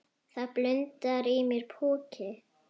Það blundar í mér púki.